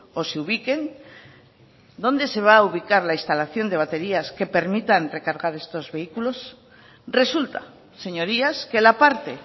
o se ubiquen dónde se va a ubicar la instalación de baterías que permitan recargar estos vehículos resulta señorías que la parte